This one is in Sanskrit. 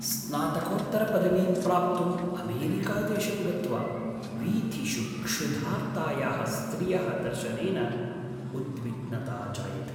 स्नातकोत्तरपदवीं प्राप्तुम् अमेरिकादेशं गत्वा वीथिषु क्षुधार्तायाः स्त्रियः दर्शनेन उद्विग्नता जायते।